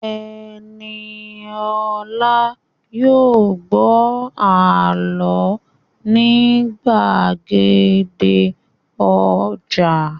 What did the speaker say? Ẹniolá yóò gbọ́ àlọ́ ní gbàgede ọjà